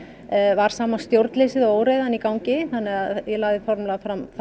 var sama stjórnleysið og óreiðan í gangi þannig að ég lagði formlega fram þá